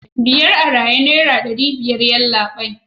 biyar a raye naira dari biyar yallabai